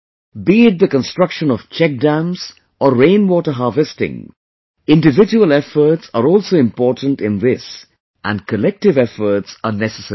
Be it the construction of Check dams or Rain Water Harvesting, individual efforts are also important in this and collective efforts are necessary too